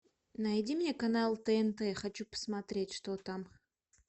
найди мне канал тнт хочу посмотреть что там